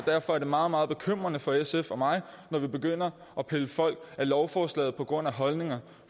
derfor er det meget meget bekymrende for sf og mig når vi begynder at pille folk af lovforslaget på grund af holdninger